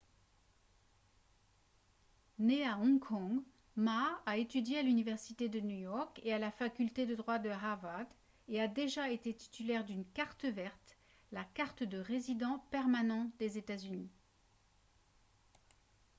né à hong kong ma a étudié à l'université de new york et à la faculté de droit de harvard et a déjà été titulaire d'une « carte verte » la carte de résident permanent des états-unis